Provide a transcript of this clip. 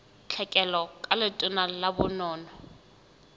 tlhekelo ka letona la bonono